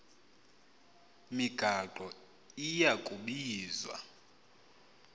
migaqo iya kubizwa